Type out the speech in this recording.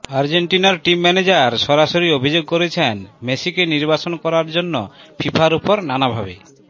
আর্জেন্টিনার team manager সরাসরি অভিযোগ করেছেন মেসিকে নির্বাসন করার জন্য ফিফার ওপর নানাভাবে